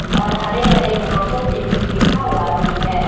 और हरे हरे घासो से कुछ लिखा हुआ भी है।